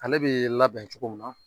Ale bɛ labɛn cogo min na.